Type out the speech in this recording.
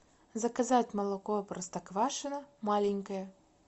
заказать молоко простоквашино маленькое